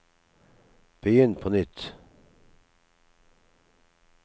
begynn på nytt